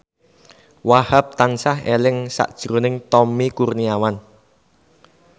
Wahhab tansah eling sakjroning Tommy Kurniawan